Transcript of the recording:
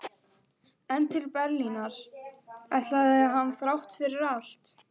En til Berlínar ætlaði hann þrátt fyrir allt.